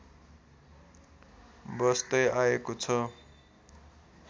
बस्दै आएको छ